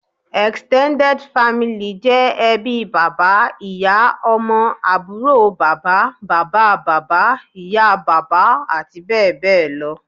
Extended family' jẹ́ ẹbí bàbá, ìyá, Ọmọ, àbúrò bàbá, bàbá bàbá, ìyá bàbá àti bẹ́ẹ̀bẹ́ẹ̀ lọ